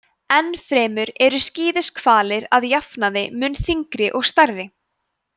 enn fremur eru skíðishvalir að jafnaði mun þyngri og stærri